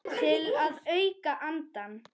Til að auka andann.